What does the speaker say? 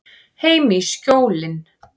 Heim í Skjólin.